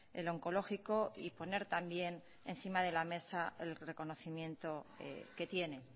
el oncológico y poner también encima de la mesa el reconocimiento que tiene